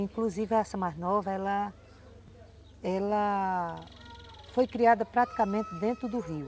Inclusive essa mais nova, ela ela foi criada praticamente dentro do rio.